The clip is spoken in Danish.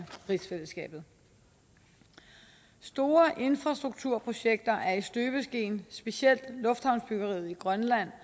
rigsfællesskabet store infrastrukturprojekter er i støbeskeen specielt lufthavnsbyggeriet i grønland